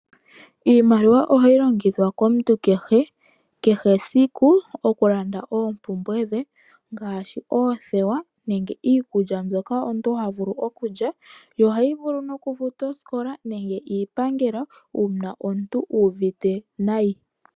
Iimaliwa ohayi longithwa komuntu kehe esiku oku landa oompumbwe dhe ngaashi oothewa nenge iikulya yokulya nemge oku futa osikola nenge iipangelo uuna omuntu u uvite nayi.